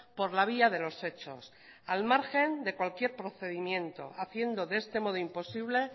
por la vía de los hechos al margen de cualquier procedimiento haciendo de este modo imposible e